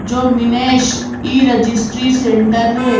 जो Minesh e registry centre है।